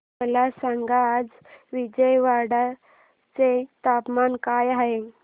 मला सांगा आज विजयवाडा चे तापमान काय आहे